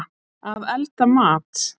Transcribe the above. Að elda mat.